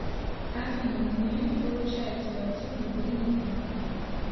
афина у меня не получается войти в мобильный банк